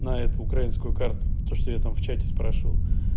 на эту украинскую карту то что я там в чате спрашивал